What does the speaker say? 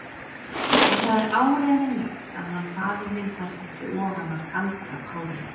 Og það er áreiðanlegt að hann faðir þinn fæst ekki ofan af galdrapárinu.